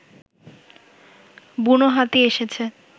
বুনো হাতি এসেছে